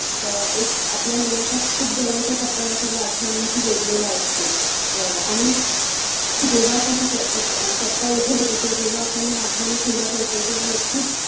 अं एक आपल्या मनाचा खूप जवळचा कप्पा या सगळ्या आठवणींशी जोडलेला असतो अं आणि जेव्हा आपण क~क~कप्पा उघडतो किवा जेव्हा आपण या आठवणी खुल्या करतो तेव्हा नक्कीच